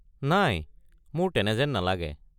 নাই, মোৰ তেনে যেন নালাগে।